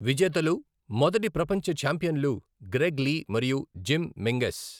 విజేతలు, మొదటి 'ప్రపంచ ఛాంపియన్లు', గ్రెగ్ లీ మరియు జిమ్ మెంగెస్.